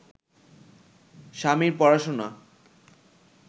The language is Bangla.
স্বামীর পড়াশোনা